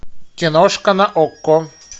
киношка на окко